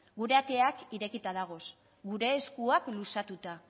gure ateak irekita dagoz gure eskuak luzatuta